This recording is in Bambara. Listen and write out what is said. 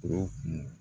O kun